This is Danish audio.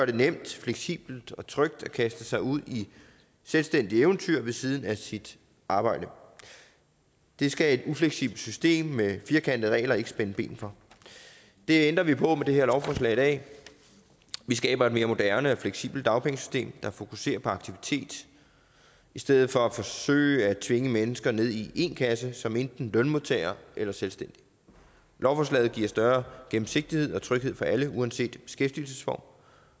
det nemt fleksibelt og trygt at kaste sig ud i selvstændige eventyr ved siden af sit arbejde det skal et ufleksibelt system med firkantede regler ikke spænde ben for det ændrer vi på med det her lovforslag i dag vi skaber et mere moderne og fleksibelt dagpengesystem der fokuserer på aktivitet i stedet for at forsøge at tvinge mennesker ned i én kasse som enten lønmodtager eller selvstændig lovforslaget giver større gennemsigtighed og tryghed for alle uanset beskæftigelsesform